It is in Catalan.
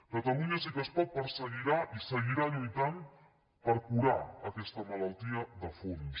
catalunya sí que es pot perseguirà i seguirà lluitant per curar aquesta malaltia de fons